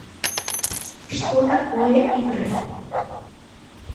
что такое игры